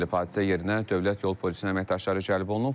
Hadisə yerinə dövlət yol polisinin əməkdaşları cəlb olunub.